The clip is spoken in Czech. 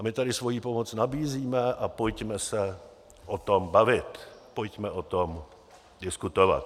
A my tady svoji pomoc nabízíme a pojďme se o tom bavit, pojďme o tom diskutovat.